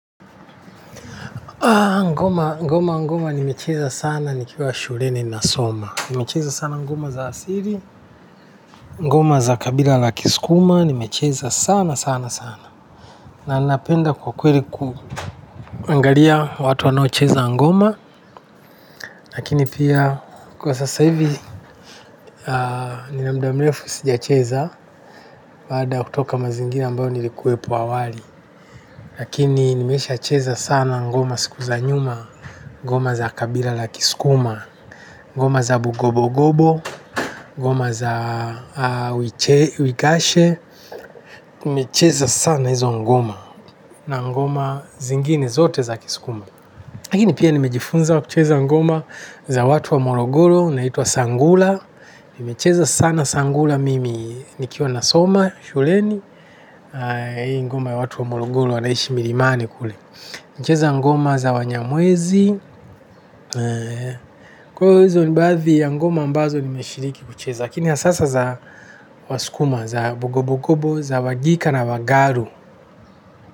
Ngoma ngoma ngoma nimecheza sana nikiwa shuleni nasoma. Nimecheza sana ngoma za asili ngoma za kabila la kisukuma nimecheza sana sana sana na napenda kwa kweli kuangalia watu wanao cheza ngoma lakini pia kwa sasa hivi nina mda mrefu sijacheza baada ya kutoka mazingira ambayo nilikuwepo awali lakini nimesha cheza sana ngoma siku za nyuma ngoma za kabila la kiskuma ngoma za bugobo-gobo, ngoma za wikashe, nimecheza sana hizo ngoma, na ngoma zingine zote za kisukuma. Lakini pia nimejifunza kucheza ngoma za watu wa morogoro, naitwa sangula. Nimecheza sana sangula mimi nikiwa nasoma shuleni hii ngoma ya watu wa morogoro wanaishi milimani kule. Nimecheza ngoma za wanyamwezi, kwa hizo ni baadhi ya ngoma ambazo nimeshiriki kucheza, lakini hasa sasa za wasukuma, za bugobogobo, za wagika na wagaru.